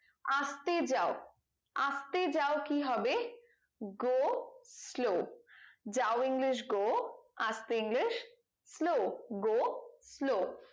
আস্তে যাও আস্তে যাও কি হবে go slow যাও english go আস্তে english slow go slow